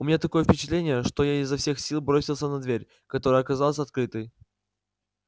у меня такое впечатление что я изо всех сил бросился на дверь которая оказалась открытой